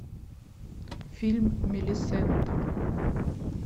фильм мелисента